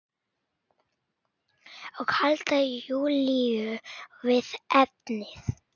Og halda Júlíu við efnið.